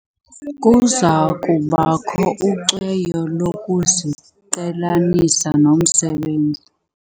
Kuza kubakho ucweyo lokuziqhelanisa nomsebenzi.